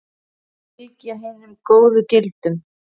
Fylgja hinum góðu gildum.